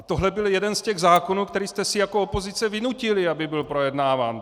A tohle byl jeden z těch zákonů, který jste si jako opozice vynutili, aby byl projednáván.